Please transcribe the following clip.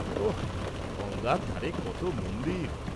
-ওঃ, গঙ্গার ধারে কত মন্দির।